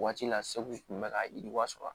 Waati la segu kun bɛ ka yiriwa sɔrɔ